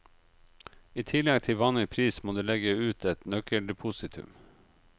I tillegg til vanlig pris må du legge ut et nøkkeldepositum.